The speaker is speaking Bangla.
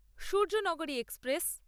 সূর্যনগরী এক্সপ্রেস